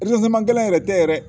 gɛlɛn yɛrɛ tɛ yɛrɛ